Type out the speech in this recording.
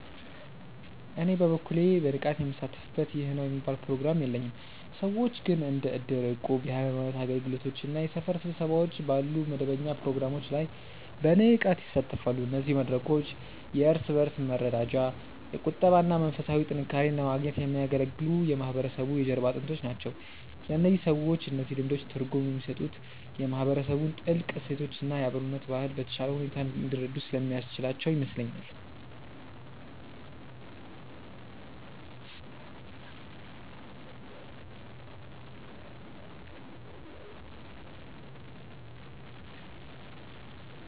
እኔ በበኩሌ በንቃት ምሳተፍበት ይህ ነው የሚባል ፕሮግራም የለኝም። ሰዎች ግን እንደ እድር፣ እቁብ፣ የሃይማኖት አገልግሎቶች እና የሰፈር ስብሰባዎች ባሉ መደበኛ ፕሮግራሞች ላይ በንቃት ይሳተፋሉ። እነዚህ መድረኮች የእርስ በእርስ መረዳጃ፣ የቁጠባ እና መንፈሳዊ ጥንካሬን ለማግኘት የሚያገለግሉ የማህበረሰቡ የጀርባ አጥንቶች ናቸው። ለእነዚህ ሰዎች እነዚህ ልምዶች ትርጉም የሚሰጡት የማህበረሰቡን ጥልቅ እሴቶች እና የአብሮነት ባህል በተሻለ ሁኔታ እንዲረዱ ስለሚያስችላቸው ይመስለኛል።